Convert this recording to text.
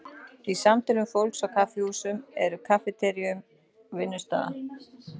Í samtölum fólks á kaffihúsum eða kaffiteríum vinnustaða?